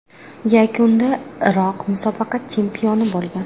Yakunda Iroq musobaqa chempioni bo‘lgan.